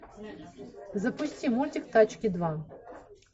запусти мультик тачки два